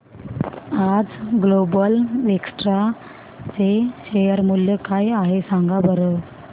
आज global Vectra चे share मूल्य काय आहे सांगा बरं